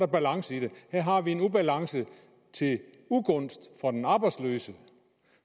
balance i det her har vi en ubalance til ugunst for den arbejdsløse